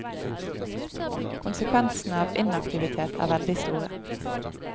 Konsekvensene av inaktivitet er veldig store.